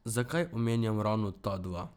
Zakaj omenjam ravno ta dva?